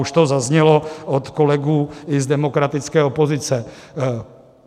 Už to zaznělo od kolegů i z demokratické opozice.